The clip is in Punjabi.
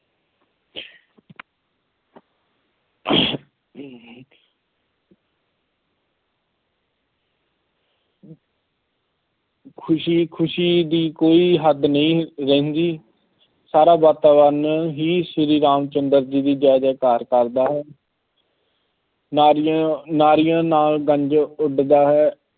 ਖੁਸ਼ੀ ਖੁਸ਼ੀ ਦੀ ਕੋਈ ਹੱਦ ਨਹੀਂ ਰਹਿੰਦੀ। ਸਾਰਾ ਵਾਤਾਵਰਨ ਹੀ ਸ਼੍ਰੀ ਰਾਮ ਚੰਦਰ ਜੀ ਦੀ ਜੈ ਜੈ ਕਾਰ ਕਰਦਾ ਹੈ। ਨਾਲ ਉਡਦਾ ਹੈ।